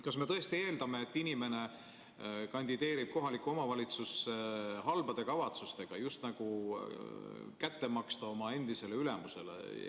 Kas me tõesti eeldame, et inimene kandideerib kohalikku omavalitsusse halbade kavatsustega, et just nagu kätte maksta oma endisele ülemusele?